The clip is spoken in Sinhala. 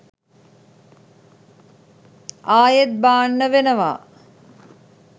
ආයෙත් බාන්න වෙනවා